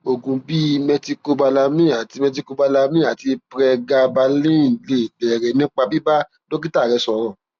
oògùn bíi methylcobalamin àti methylcobalamin àti pregabalin lè bẹrẹ nípa bíbá dókítà rẹ sọrọ